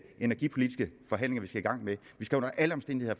energipolitiske forhandlinger vi skal i gang med vi skal under alle omstændigheder